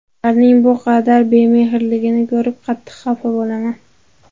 Ularning bu qadar bemehrligini ko‘rib qattiq xafa bo‘laman.